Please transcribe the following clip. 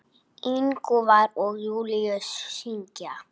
Ingvar og Júlíus syngja.